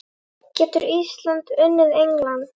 Getur Ísland unnið England?